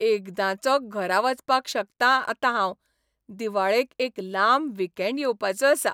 एकदांचो घरा वचपाक शकतां आतां हांव दिवाळेक एक लांब वीकेंड येवपाचो आसा.